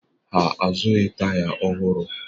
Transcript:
Ha azụghị taya ọhụrụ